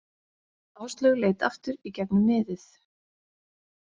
Áslaug leit aftur í gegnum miðið.